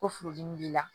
Ko furudimi b'i la